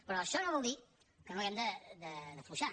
però això no vol dir que no hàgim d’afluixar